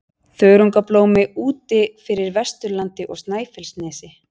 Þörungablómi úti fyrir Vesturlandi og Snæfellsnesi.